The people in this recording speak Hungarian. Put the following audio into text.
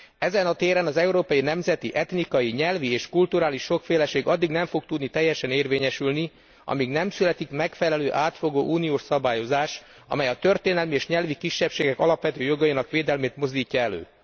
Ezen a téren az európai nemzeti, etnikai, nyelvi és kulturális sokféleség addig nem fog tudni teljesen érvényesülni, amíg nem születik megfelelő, átfogó uniós szabályozás, amely a történelmi és nyelvi kisebbségek alapvető jogainak védelmét mozdítja elő.